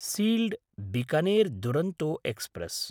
sealed Bikaner Duronto express